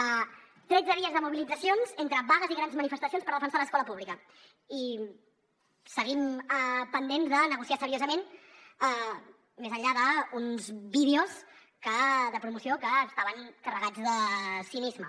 tretze dies de mobilitzacions entre vagues i grans manifestacions per defensar l’escola pública i seguim pendents de negociar seriosament més enllà d’uns vídeos de promoció que estaven carregats de cinisme